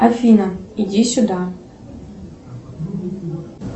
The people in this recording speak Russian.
афина иди сюда